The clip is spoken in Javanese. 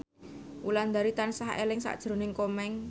Wulandari tansah eling sakjroning Komeng